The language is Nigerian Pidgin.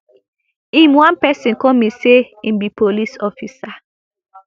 im one pesin call me say im be police officer